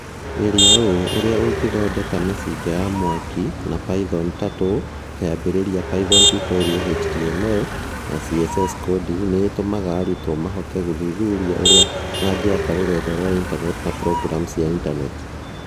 "Geria ũũ: Ũrĩa Ũngĩthondeka Mĩcinga ya mwaki na Python Turtle Kĩambĩrĩria Python Tutorial HTML na CSS coding nĩ itũmaga arutwo mahote gũthuthuria ũrĩa mangĩaka rũrenda rwa intaneti na programu cia intaneti".